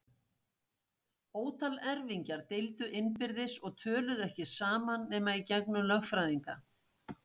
Ótal erfingjar deildu innbyrðis og töluðu ekki saman nema í gegnum lögfræðinga.